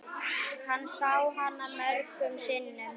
Hann sá hana mörgum sinnum.